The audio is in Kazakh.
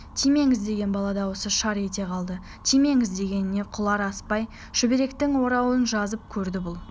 тимеңіз деген бала дауысы шар ете қалды тимеңіз дегеніне құлақ аспай шүберектің орауын жазып көрді бұл